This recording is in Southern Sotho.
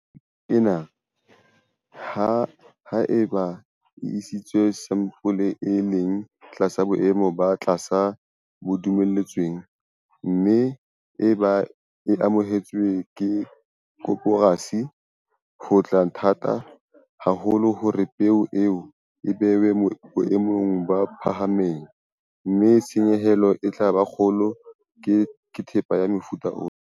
Ntlheng ena, ha eba o isitse sampole e leng tlasa boemo bo tlasa bo dumelletsweng, mme eba e amohetswe ke koporasi, ho tla ba thata haholo hore peo eo e behwe boemong bo phahameng, mme tshenyehelo e tla ba kgolo ka thepa ya mofuta ona.